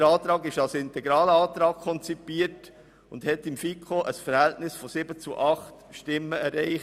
Der Antrag ist als integraler Antrag konzipiert und hat in der FiKo ein Stimmenverhältnis von 7 zu 8 erreicht.